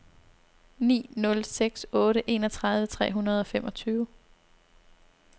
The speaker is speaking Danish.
ni nul seks otte enogtredive tre hundrede og femogtyve